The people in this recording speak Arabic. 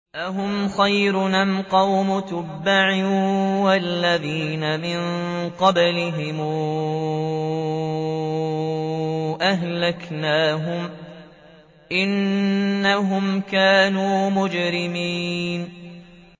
أَهُمْ خَيْرٌ أَمْ قَوْمُ تُبَّعٍ وَالَّذِينَ مِن قَبْلِهِمْ ۚ أَهْلَكْنَاهُمْ ۖ إِنَّهُمْ كَانُوا مُجْرِمِينَ